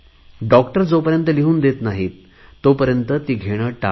doctor जोपर्यंत लिहून देत नाहीत तोपर्यंत ती घेणे टाळा